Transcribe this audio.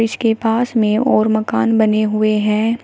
इसके पास में और मकान बने हुए हैं।